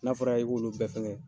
N'a fɔra i k'olu bɛɛ fɛngɛ.